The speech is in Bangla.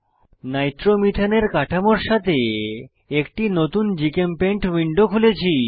নাইট্রোমিথেন এর কাঠামোর সাথে একটি নতুন জিচেমপেইন্ট উইন্ডো খুলেছি